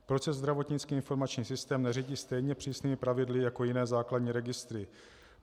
Proč se zdravotnický informační systém neřídí stejně přísnými pravidly jako jiné základní registry?